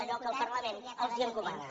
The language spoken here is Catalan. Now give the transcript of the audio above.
allò que el parlament els encomana